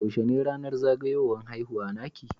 Yaushe ne ranar zagayuwan haihuwa naki?